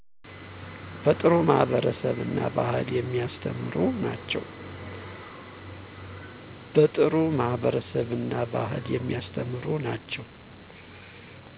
በጥሩ ማህበረሰብ እና ባህልን የሚያስተምሩ ናቸው